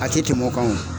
A tɛ tɛmɛ o kan wo